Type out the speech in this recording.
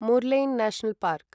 Murlen national park